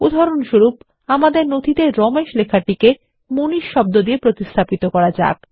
উদাহরণস্বরূপ আমাদের নথিতে রমেশ লেখাটিকে মানিশ দিয়ে প্রতিস্থাপিত করা যাক